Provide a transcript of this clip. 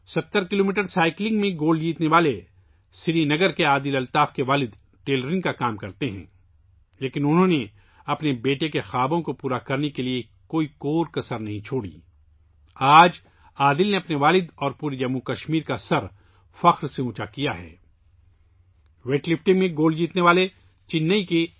70 kilometre cycling میں gold medal جیتنے والے سری نگر سے تعلق رکھنے والے عادل الطاف کے والد ٹیلرنگ کا کام کرتے ہیں، لیکن انھوں نے اپنے بیٹے کے خوابوں کو پورا کرنے میں کوئی کسر نہیں چھوڑی، سر فخر سے بلند ہوگیا